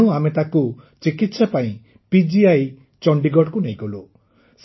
ତେଣୁ ଆମେ ତାକୁ ଚିକିତ୍ସା ପାଇଁ ପିଜିଆଇ ଚଣ୍ଡିଗଡ଼କୁ ନେଇଗଲୁ